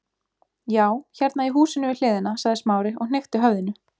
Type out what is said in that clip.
Já, hérna í húsinu við hliðina- sagði Smári og hnykkti höfðinu.